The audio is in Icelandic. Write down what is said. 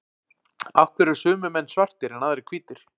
Af hverju eru sumir menn svartir en aðrir hvítir?